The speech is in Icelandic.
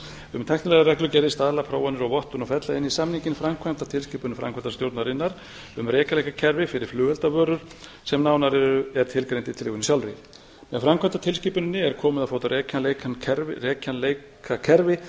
um tæknilegar reglugerðir staðla prófanir og vottun og fella inn í samninginn framkvæmdartilskipun framkvæmdastjórnarinnar um rekjanleikakerfi fyrir flugeldavörur sem nánar er tilgreint í tillögunni sjálfri í framkvæmdartilskipun er komið á fót rekjanleikakerfi